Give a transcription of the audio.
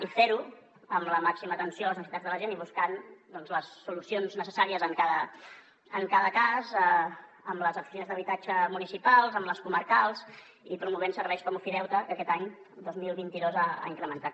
i fer ho amb la màxima atenció a les necessitats de la gent i buscant doncs les solucions necessàries en cada cas amb les oficines d’habitatge municipals amb les comarcals i promovent serveis com ofideute que aquest any dos mil vint dos ha incrementat